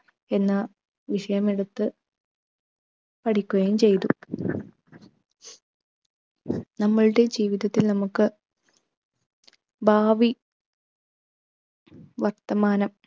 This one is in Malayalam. എന്ന വിഷയമെടുത്ത് പഠിക്കുകയും ചെയ്തു. നമ്മളുടെ ജീവിതത്തിൽ നമുക്ക് ഭാവി വർത്തമാനം